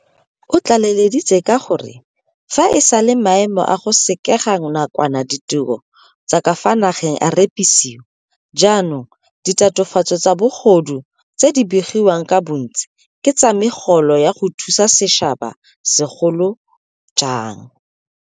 O tlaleleditse ka gore fa e sale maemo a go sekega nakwana ditiro tsa ka fa nageng a repisiwa, jaanong ditatofatso tsa bogodu tse di begiwang ka bontsi ke tsa megolo ya go thusa setšhaba, segolo jang.